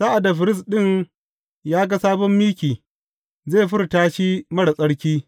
Sa’ad da firist ɗin ya ga sabon miki, zai furta shi marar tsarki.